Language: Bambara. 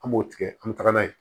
An b'o tigɛ an be taga n'a ye